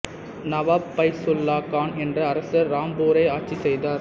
நவாப் ஃபைசுல்லா கான் என்ற அரசர் ராம்பூரை ஆட்சி செய்தார்